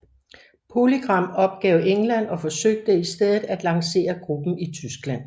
PolyGram opgav England og forsøgte i stedet at lancere gruppen i Tyskland